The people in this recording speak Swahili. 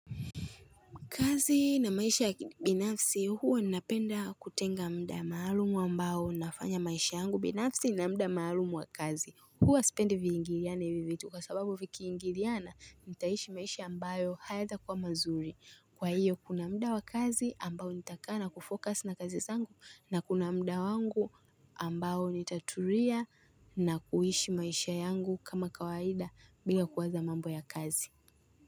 Kazi na maisha ya kibinafisi huwa ninapenda kutenga muda maalumu ambao nafanya maisha yangu binafsi na muda maalumu wa kazi huwa spendi viingiliane hivi vitu kwa sababu vikiingiliana nitaishi maisha ambayo hayataa kuwa mazuri Kwa hiyo kuna muda wa kazi ambao nitakaa na kufocus na kazi zangu na kuna muda wangu ambayo nitaturia na kuishi maisha yangu kama kawaida bila kuwaza mambo ya kazi.